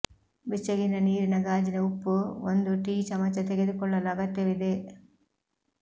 ಬೆಚ್ಚಗಿನ ನೀರಿನ ಗಾಜಿನ ಉಪ್ಪು ಒಂದು ಟೀ ಚಮಚ ತೆಗೆದುಕೊಳ್ಳಲು ಅಗತ್ಯವಿದೆ